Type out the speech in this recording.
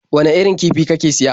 Wane irin kifi kake siya?